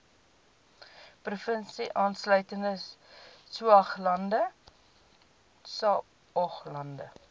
provinsie insluitende saoglande